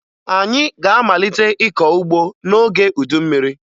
Anyị ga-amalite ịkọ ugbo n'oge udu mmiri